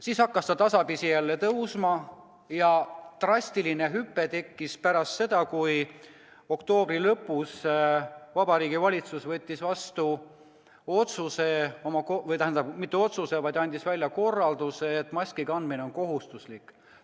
Siis hakkas näitaja tasapisi jälle tõusma ja tegi drastilise hüppe pärast seda, kui oktoobri lõpus Vabariigi Valitsus andis välja korralduse, et maski kandmine on kohustuslik.